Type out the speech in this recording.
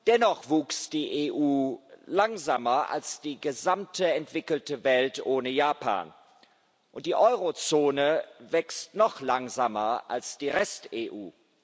Dennoch wuchs die EU langsamer als die gesamte entwickelte Welt ohne Japan, und die Eurozone wächst noch langsamer als die Rest EU.